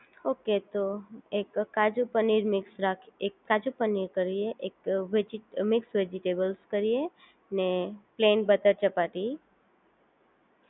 okay તો એક કાજુ પનીર મિક્સ રાખીયે એક કાજુ પનીર કરીએ એક મિક્સ વેજીટેબલ કરીએ ને પ્લેન બટર ચપાતી